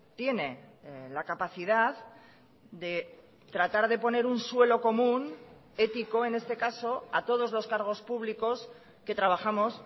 tiene la capacidad de tratar de poner un suelo común ético en este caso a todos los cargos públicos que trabajamos